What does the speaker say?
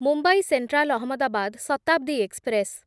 Mumbai central Ahmedabad Shatabdi express